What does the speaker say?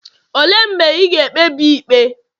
olee mgbe ị ga-ekpebi ikpe?